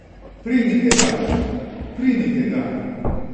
Primite ga, primite ga.